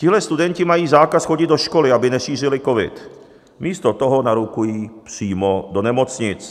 Tihle studenti mají zákaz chodit do školy, aby nešířili covid, místo toho narukují přímo do nemocnic.